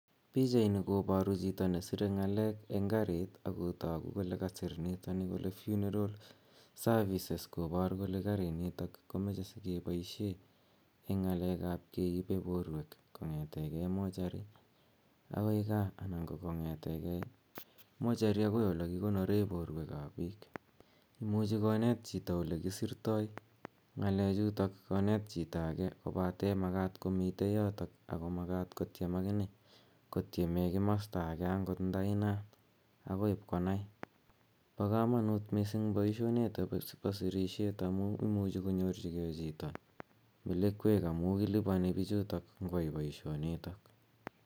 Pichaini koparu chito nesirei ng'aleek eng' kariit ako tagu kole kasir nitoni kole funeral services kopar kole kopar kole karinitok komache si kepaishe keipe porweek kong'etegei mochari akoi gaa anan konkong'ete gei mochari agoi ole kikonore porweek ap piik. Imuchi koneet chito ole kisirtoi ng'alechutok koneet chito age kopatr makat komitei yotok ako makat kotiem akine, kotieme komasta age agot nda inaat akoi ipkonai. Pa kamanuut poishonitok po sirisheet amu imuchi konyorchigei chito melekweek, amu kilipani pichutok ngo ai poishonitok.